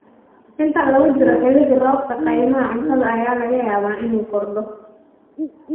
Inta lagu jiro xilli-roobaadka, qiimaha quudinta ayaa laga yaabaa inuu kordho.